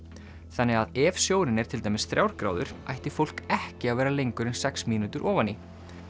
þannig að ef sjórinn er til dæmis þrjár gráður ætti fólk ekki að vera lengur en sex mínútur ofan í